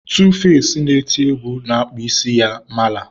2face na-eti egwu na-akpụ isi ya mala.